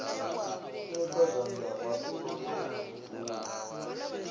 fheṱa zwanḓa o no bvula